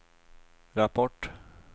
rapport